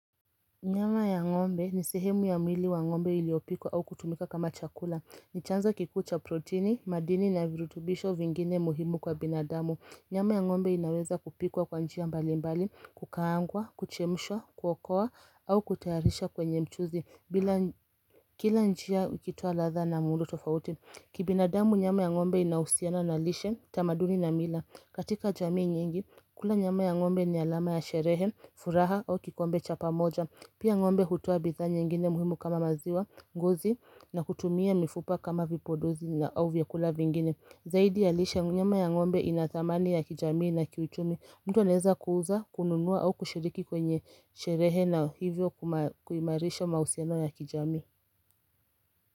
Nyama ya ngombe ni sehemu ya mwili wa ngombe iliopikwa au kutumika kama chakula ni chanzo kikuu cha proteni, madini na virutubisho vingine muhimu kwa binadamu Nyama ya ngombe inaweza kupikwa kwa njia mbali mbali, kukaangwa, kuchemshwa, kuokowa au kutayarisha kwenye mchuzi bila Kila njia ikitoa ladha na muundo tofauti Kibinadamu nyama ya ngombe inahusiana na lishe, tamaduni na mila katika jamii nyingi, kula nyama ya ngombe ni alama ya sherehe, furaha au kikombe cha pamoja Pia ngombe hutoa bidhaa nyengine muhimu kama maziwa ngozi na kutumia mifupa kama vipodozi na au vyakula vingine Zaidi ya lishe nyama ya ng'ombe inathamani ya kijamii na kiuchumi mtu anaeza kuuza kununuwa au kushiriki kwenye sherehe na hivyo kuimarisha mahusino ya kijamii.